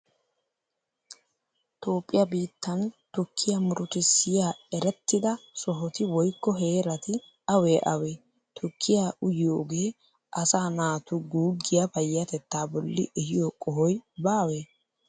Toophphiyaa biittan tukkiya murutissiyaa erettida sohoti woykko heerati awee awee? Tukkiyaa uyiyogee asaa naatu guuggiya payyatettaa bolli ehiyo qohoy baawee?